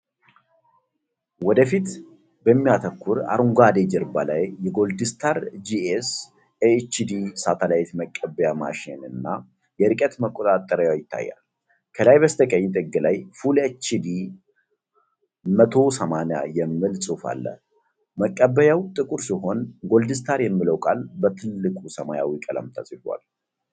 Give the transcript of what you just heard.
ወደፊት በሚያተኩር አረንጓዴ ጀርባ ላይ የጎልድስታር ጂኤስ-፰፰፲፻ኤችዲ ሳተላይት መቀበያ ማሽንና የርቀት መቆጣጠሪያው ይታያል። ከላይ በስተቀኝ ጥግ ላይ "Full HD 1080" የሚል ጽሑፍ አለ። መቀበያው ጥቁር ሲሆን፣ ጎልድስታር የሚለው ቃል በትልቁ ሰማያዊ ቀለም ተጽፏል።